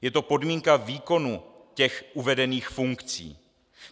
Je to podmínka výkonu těch uvedených funkcí.